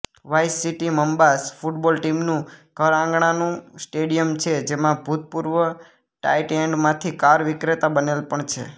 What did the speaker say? vice city Mambas football ટીમનું ઘરઆંગણાનું stadium છેજેમાં ભૂતપૂર્વ ટાઇટએન્ડમાંથી કાર વિક્રેતા બનેલ પણ છે